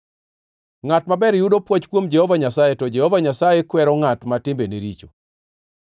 Ngʼat maber yudo pwoch kuom Jehova Nyasaye, to Jehova Nyasaye kwero ngʼat ma timbene richo.